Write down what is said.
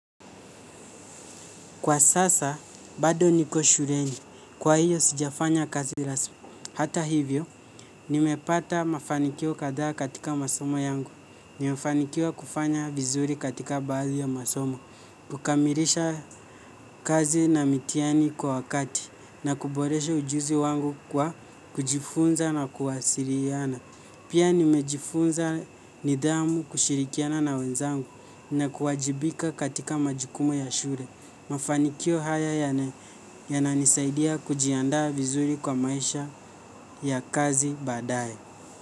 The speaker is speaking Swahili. Kwa sasa, bado niko shuleni. Kwa hiyo, sijafanya kazi lasu. Hata hivyo, nimepata mafanikio kadhaa katika masomo yangu. Nimefanikiwa kufanya vizuri katika baadhi ya masomo. Kukamirlsha kazi na mitihani kwa wakati. Na kuboresha ujuzi wangu kwa kujifunza na kuwasiliana. Pia nimejifunza nidhamu kushirikiana na wenzangu na kuwajibika katika majukumu ya shule. Mafanikio haya yana yananisaidia kujiandaa vizuri kwa maisha ya kazi baadaye.